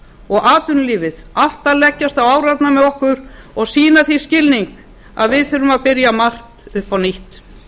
og atvinnulífið allt að leggjast á árarnar með okkur og sýna því skilning að við þurfum að byrja margt upp á nýtt